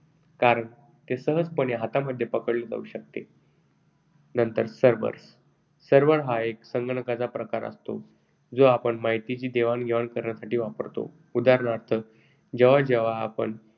कारण ते सहजपणे हातामध्ये पकडले जाऊ शकते. नंतर servers. Servers हा एक प्रकारचा संगणक असतो जो आपण माहितीची देवाणघेवाण करण्यासाठी वापरतो. उदाहरणार्थ, जेव्हा जेव्हा आपण